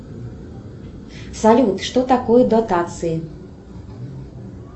салют что такое дотации